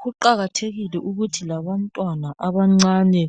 Kuqakathekile ukuthi labantwana abancane